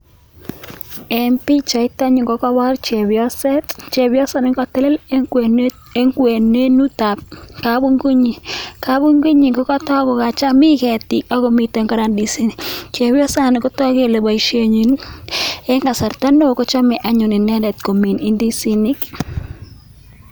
Eng pichait anyuun kokeipor chepyoset, chepyosani anyuun kokatelel anyun eng kwenetab kapunguinyin, kapuingunyin kokacham, mi keetik ako miten kora ndisinik. Chepyosani kotoku kele boisienyin eng kasarta neo kochame anyun inendet komin indisinik.